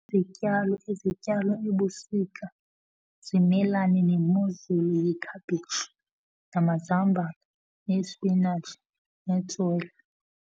Izityalo ezityalwa ebusika zimelane nemozulu yikhaphetshu, namazambane, nesipinatshi, netswele.